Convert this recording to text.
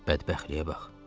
Bədbəxtliyə bax.